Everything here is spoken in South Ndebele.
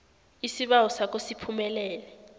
isibawo sakho siphumelele